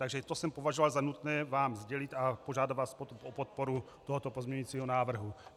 Takže to jsem považoval za nutné vám sdělit a požádat vás o podporu tohoto pozměňovacího návrhu.